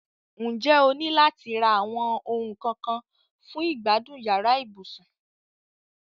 N jẹ́ o ni láti ra àwon oun kan kan fun ìgbádùn yàrá ibùsùn?